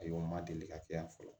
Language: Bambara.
Ayiwa n ma deli ka kɛ yan fɔlɔ